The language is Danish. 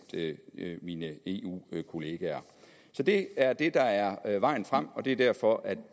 mine eu kollegaer så det er det der er vejen frem og det er derfor at